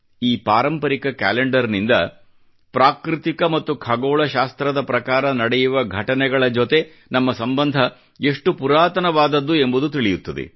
ಈ ಪಾರಂಪರಿಕ ಕ್ಯಾಲೆಂಡರ್ ನಿಂದ ಪ್ರಾಕೃತಿಕ ಮತ್ತು ಖಗೋಳ ಶಾಸ್ತ್ರದ ಪ್ರಕಾರ ನಡೆಯುವ ಘಟನೆಗಳ ಜೊತೆ ನಮ್ಮ ಸಂಬಂಧ ಎಷ್ಟು ಪುರಾತನವಾದದ್ದು ಎಂಬುದು ತಿಳಿಯುತ್ತದೆ